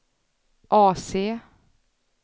AC